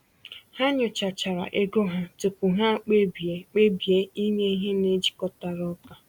Ha nyochachara ego ha tupu ha kpebie kpebie inye ihe na-ejikọtara ụka.